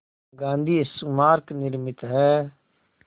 गांधी स्मारक निर्मित है